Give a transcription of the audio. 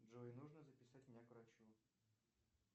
джой нужно записать меня к врачу